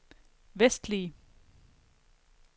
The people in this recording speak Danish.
vestlige